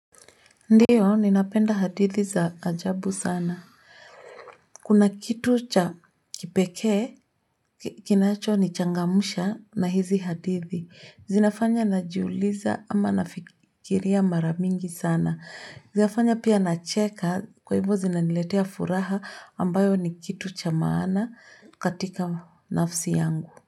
Ndio, ninapenda hadithi za ajabu sana. Kuna kitu cha kipekee kinacho nichangamusha na hizi hadithi. Zinafanya najiuliza ama nafikiria mara mingi sana. Zinafanya pia nacheka kwa hivo zinaniletea furaha ambayo ni kitu cha maana katika nafsi yangu.